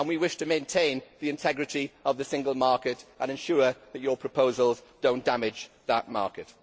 We wish to maintain the integrity of the single market and ensure that your proposals do not damage that market.